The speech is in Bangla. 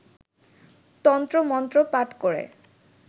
তন্ত্রমন্ত্র পাঠ করে